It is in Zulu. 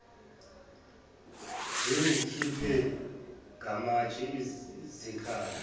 zingikhiphe ngamatshe zikhala